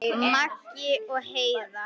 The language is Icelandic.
Maggi og Heiða.